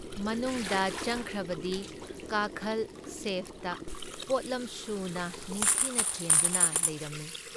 ꯃꯅꯨꯡꯗ ꯆꯪꯈ꯭ꯔꯕꯗꯤ ꯀꯥꯈꯜ ꯁꯦꯜꯐꯇ ꯄꯣꯠꯂꯝꯁꯨꯅ ꯅꯤꯡꯊꯤꯅ ꯊꯦꯟꯗꯨꯅ ꯂꯩꯔꯝꯃꯤ ꯫